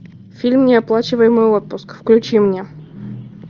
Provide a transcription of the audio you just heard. фильм неоплачиваемый отпуск включи мне